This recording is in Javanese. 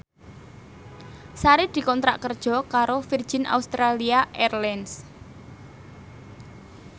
Sari dikontrak kerja karo Virgin Australia Airlines